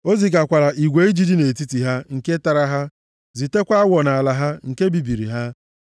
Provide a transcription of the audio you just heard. O zigakwara igwe ijiji nʼetiti ha, nke tara ha, zitekwa awọ nʼala ha, nke bibiri ha.